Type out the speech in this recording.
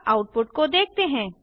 अब आउटपुट को देखते हैं